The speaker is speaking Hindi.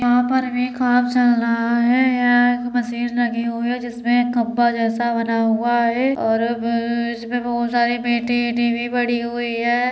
यहां पर भी काम चल रहा है। यहां एक मशीन लगी हुई है जिसपे एक खम्मा जैसा बना हुआ है और ब अ अ इसमे बोहत सारी पेटी एटी भी पड़ी हुई है।